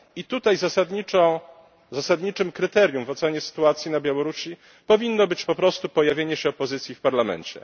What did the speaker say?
I tutaj zasadniczym kryterium w ocenie sytuacji na Białorusi powinno być po prostu pojawienie się opozycji w parlamencie.